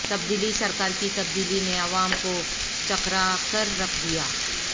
تبدیلی سرکار کی تبدیلی نے عوام کو چکراکررکھ دیا